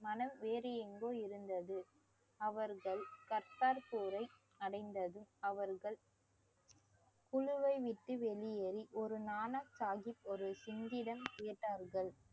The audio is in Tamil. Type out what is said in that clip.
மனம் வேறு எங்கோ இருந்தது அவர்கள் கர்த்தர் போரை அடைந்ததும் அவர்கள் குழுவை விட்டு வெளியேறி ஒரு நாணசாகிப் ஒரு சிங்கிடம் கேட்டார்கள்